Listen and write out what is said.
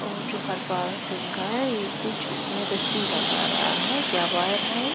और जो हरपाल सिंह का है ये कुछ इसमें रस्सी लगा रहा है या वायर है।